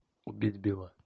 убить билла